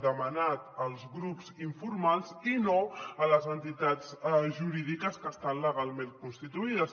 demanat als grups informals i no a les entitats jurídiques que estan legalment constituïdes